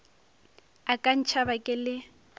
a ka ntšhaba ke le